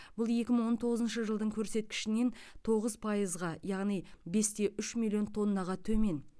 бұл екі мың он тоғызыншы жылдың көрсеткішінен тоғыз пайызға яғни бес те үш миллион тоннаға төмен